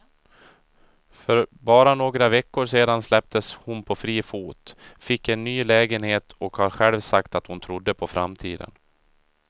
För bara några veckor sedan släpptes hon på fri fot, fick en ny lägenhet och har själv sagt att hon trodde på framtiden.